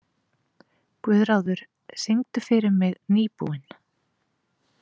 Guðráður, syngdu fyrir mig „Nýbúinn“.